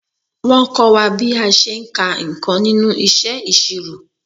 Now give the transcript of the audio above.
Wọ́n kọ́ wa bí a ṣe ń ka nǹkan nínú iṣẹ́ ìṣirò.